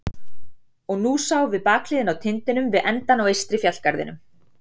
Og nú sáum við bakhliðina á tindinum við endann á eystri fjallgarðinum.